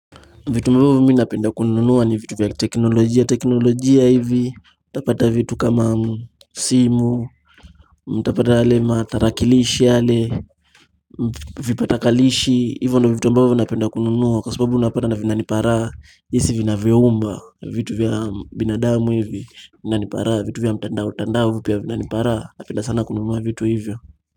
Vitu ambavyo mimi napenda kununua ni vitu vya teknolojia. Teknolojia hivi, utapata vitu kama simu, utapata yale matarakilishi yale vipatakalishi, hivyo ndo vitu ambavyo napenda kununua kwa sababu unapata vinanipa raha, jinsi vinavyayumba, vitu vya binadamu hivi, vinanipa raha, vitu vya mtandao, tandao pia vinanipa hraa, napenda sana kununua vitu hivyo.